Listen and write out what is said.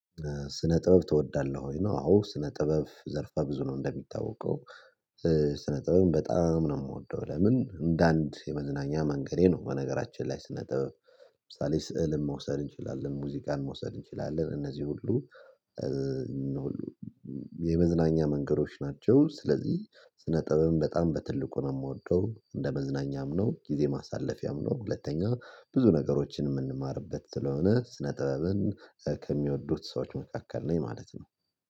ስነ ጥበብ ትወዳለህ ወይ ነው? አዎ ስነ ጥበብ ዘርፋ ብዙ ነው እንደሚታወቀው ስነ ጥበብ በጣም ነው የምወደው። ለምን እንደ አንድ የመዝናኛ መንገዴ ነው። በነገራችን ላይ ስነጥበብ ለምሳሌ ስዕልን መውሰድ እንችላለን ሙዚቃን መውሰድ እንችላለን እነዚህ ሁሉ የመዝናኛ መንገዶች ናቸው። ስለዚህ ስነ ጥበብም በጣም በትልቁ ነው የምወደው እንደ መዝናኛም ነው ጊዜ ማሳለፊያም ነው። ሁለተኛ ብዙ ነገሮችን የምንማርበት ስለሆነ ስነ ጥበብን ከሚወዱት ሰዎች መካከል ነኝ ማለት ነው